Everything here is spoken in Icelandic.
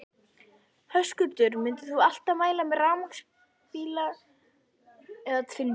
Höskuldur: Myndir þú alltaf mæla með rafmagnsbíla eða tvinnbíl?